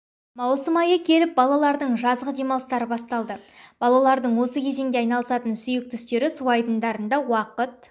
маусым айы келіп балалардың жазғы демалыстары басталды балалардың осы кезеңде айналысатын сүйкті істері су айдындарында уақыт